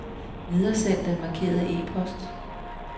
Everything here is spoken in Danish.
Videresend den markerede e-post.